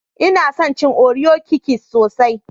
Nna son cin Oreo Kikis sosai.